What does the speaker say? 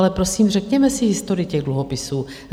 Ale prosím, řekněme si historii těch dluhopisů.